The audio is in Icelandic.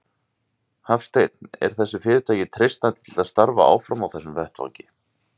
Hafsteinn: Er þessu fyrirtæki treystandi til að starfa áfram á þessum vettvangi?